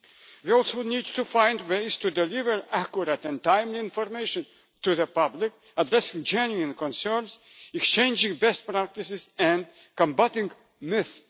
We also need to find ways to deliver accurate and timely information to the public of these genuine concerns, exchanging best practices and combating